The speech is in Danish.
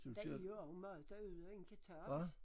Der er også mad derude en kan tage